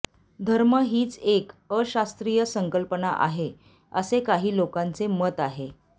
धर्म हीच एक अशास्त्रीय संकल्पना आहे असे काही लोकांचे मत आहे